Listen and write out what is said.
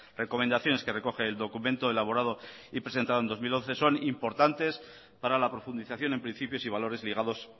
recomendaciones que recoge el documento elaborado y presentado en dos mil once son importantes para la profundización en principios y valores ligados